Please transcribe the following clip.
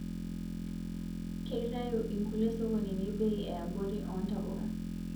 Keitayuu inkulie sokonini bei eyaborii oo ntapuka